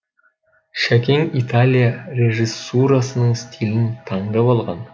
шәкең италия режиссурасының стилін таңдап алған